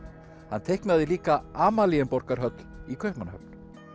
hann teiknaði líka í Kaupmannahöfn